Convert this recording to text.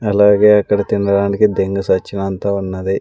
అలాగే అక్కడ తినడానికి దెంగే సచ్చినంత ఉన్నది.